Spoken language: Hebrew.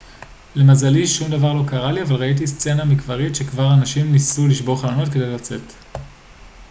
למזלי שום דבר לא קרה לי אבל ראיתי סצנה מקברית כשאנשים ניסו לשבור חלונות כדי לצאת